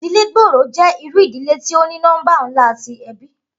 Idile gbooro jẹ iru idile ti o ni nọmba nla ti ẹbi